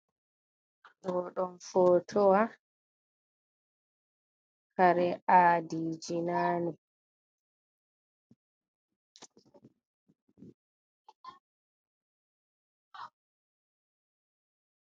Ɗo ɗum footowa kare aadiiji naane.